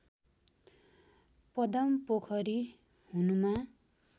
पदमपोखरी हुनुमा